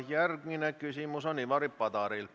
Järgmine küsimus on Ivari Padaril.